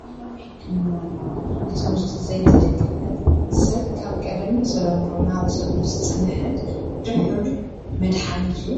ባህላዊ ሕክምና ማለት ብትምህርቲ ዘይተደገፈን ሰብ ካብ ቀደም ብተለምዶ እናወሰዶም ዝፀንሐ ድሑር መድሓኒት እዩ፡፡